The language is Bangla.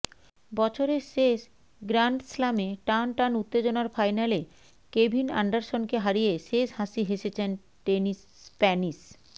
বছরের শেষ গ্রান্ডস্লামে টান টান উত্তেজনার ফাইনালে কেভিন অ্যান্ডারসনকে হারিয়ে শেষ হাসি হেসেছেন টেনিস স্প্যানিশ